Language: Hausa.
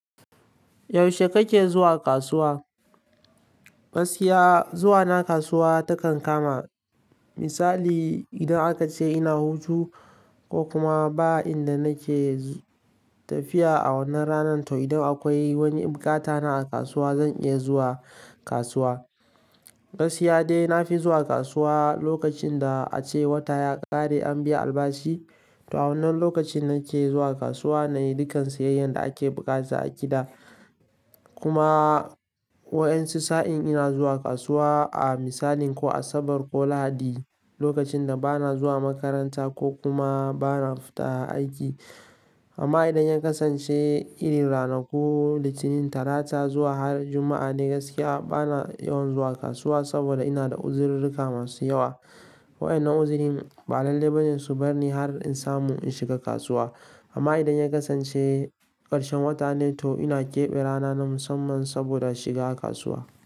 Yaushe kake zuwa kasuwa? Gaskiya zuwa na kasuwa takan kama misali idan aka ce ina hutu ko kuma ba inda nake tafiya a wannan ranar to idan akwai wani bukata na a kasuwa zan iya zuwa kasuwa. Yaushe kake zuwa kasuwa? Gaskiya zuwa na kasuwa takan kama misali idan aka ce ina hutu ko kuma ba inda nake tafiya a wannan ranar to idan akwai wani bukata na a kasuwa zan iya zuwa kasuwa. Gaskiya dai na fi zuwa kasuwa lokacin da ace wata ya ƙare an biya albashi. To wannan lokacin nake zuwa kasuwa nayi dukan siyayyar da ake buƙata a gida. Kuma wani sa'in ina zuwa kasuwa a misalin ko Asabar ko Lahadi amma idan ya kasance irin ranaku Litinin, Talata zuwa har Juma'a ne gaskiya bana yawan zuwa kasuwa saboda ina da uziruka masu yawa. Wadannan uzirin ba lalai bane su bar ni har in samu in shiga kasuwa. Amma idan ya kasance ƙarshen wata ne to ina keɓe rana na musamman saboda shiga kasuwa.